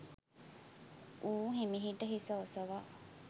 ඌ හෙමිහිට හිස ඔසවා